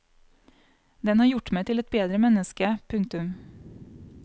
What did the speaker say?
Den har gjort meg til et bedre menneske. punktum